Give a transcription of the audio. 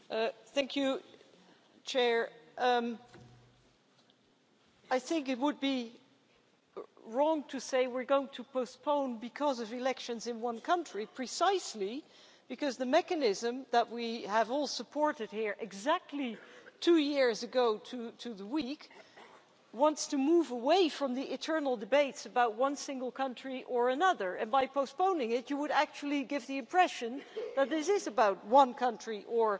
Mr President, I think it would be wrong to say we're going to postpone because of elections in one country, precisely because the mechanism that we have all supported here exactly two years ago to the week wants to move away from the external debates about one single country or another, and by postponing it you would actually give the impression that this is about one country or